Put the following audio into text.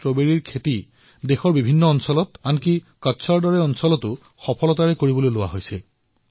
strawberry পূৰ্বতে পাহাৰত কৰা হৈছিল এতিয়া কচ্ছৰ বালিয়া মাটিতো কৰা হৈছে